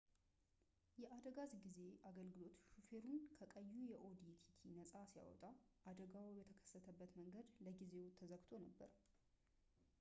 የአደጋ ጊዜ አገልግሎት ሾፌሩን ከቀዩ የኦዲ ቲቲ ነፃ ሲያወጣ አደጋው የተከሰተበት መንገድ ለጊዜው ተዘግቶ ነበር